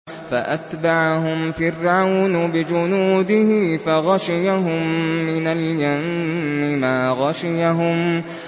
فَأَتْبَعَهُمْ فِرْعَوْنُ بِجُنُودِهِ فَغَشِيَهُم مِّنَ الْيَمِّ مَا غَشِيَهُمْ